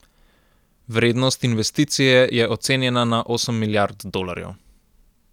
Vrednost investicije je ocenjena na osem milijard dolarjev.